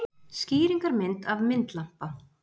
Skýringarmynd af myndlampa.